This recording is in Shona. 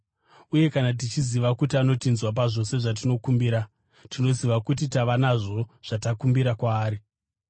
Uye kana tichiziva kuti anotinzwa pazvose zvatinokumbira, tinoziva kuti tava nazvo zvatakumbira kwaari.